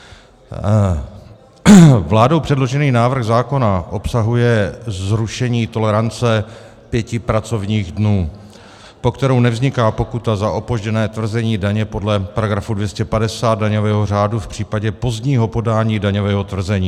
Vládou předložený návrh zákona obsahuje zrušení tolerance pěti pracovních dnů, po kterou nevzniká pokuta za opožděné tvrzení daně podle § 250 daňového řádu v případě pozdního podání daňového tvrzení.